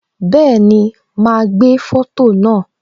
Bẹẹni, ma gbé foto naa